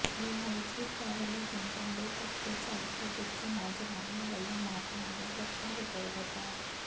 ਲਾਲਚੀ ਟਰੈਵਲ ਏਜੰਟਾਂ ਦੇ ਧੱਕੇ ਚੜ੍ਹ ਕੇ ਜਿੱਥੇ ਨੌਜਵਾਨਾਂ ਵੱਲੋਂ ਮਾਪਿਆਂ ਦਾ ਲੱਖਾਂ ਰੁਪਏ ਬਰਬਾਦ